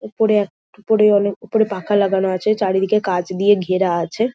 উপরে এক উপরে অনেক উপরে পাখা লাগানো আছে চারিদিকে কাচ দিয়ে ঘেরা আছে।